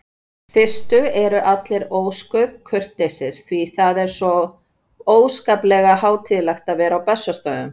fyrstu eru allir ósköp kurteisir því það er svo óskaplega hátíðlegt að vera á Bessastöðum.